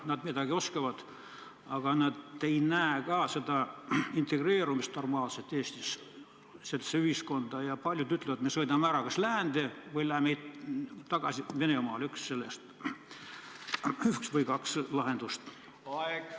Nad midagi oskavad, aga nad ei näe normaalset integreerumist Eesti ühiskonda ja paljud ütlevad, et me sõidame ära kas läände või läheme Venemaale – neil on üks või teine lahendus.